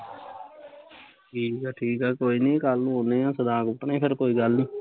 ਠੀਕ ਆ ਠੀਕ ਆ ਕੋਈ ਨੀ ਕੱਲੂ ਆਉਂਨੇ ਆ, ਸਦਾ ਕੁੱਟਣੇ ਫਿਰ ਕੋਈ ਗੱਲ ਨੀ